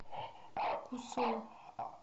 кусой